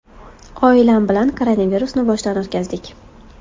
Oilam bilan koronavirusni boshdan o‘tkazdik.